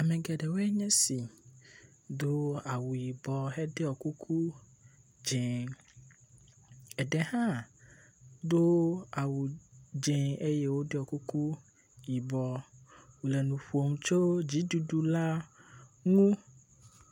Ame geɖewoe nye si do awu yibɔ heɖɔ kuku dze, eɖewo hã do awu dze eye woɖɔ kuku yibɔ. Wole nu ƒom tso dziɖuɖu la ŋu.